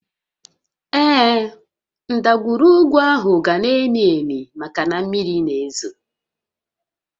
Ee, ndagwurugwu áhụ̀ ga-na ámị́ àmị́ maka na mmiri na-ézò